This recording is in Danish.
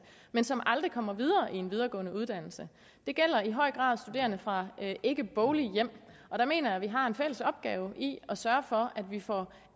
men som aldrig kommer videre i en videregående uddannelse det gælder i høj grad studerende fra ikkeboglige hjem og der mener jeg vi har en fælles opgave i at sørge for at vi får